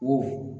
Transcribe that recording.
Wo